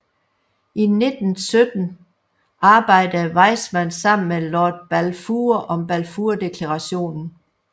I 1917 arbejdede Weizmann sammen med Lord Balfour om Balfourdeklarationen